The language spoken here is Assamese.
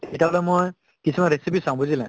তেতিয়া হʼলে মই কিছুমান recipe চাওঁ বুজিলে?